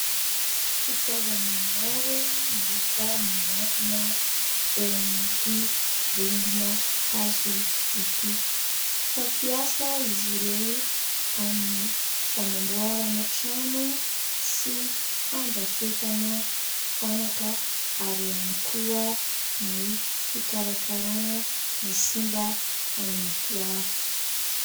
Fitaovana maro no hita miantona eo amin'ity rindrina hazo ity, fampiasa izy ireo amin'ny fanamboarana trano sy fandrafetana fanaka ary ihany koa ny fikarakarana ny simba amin'ny fiara.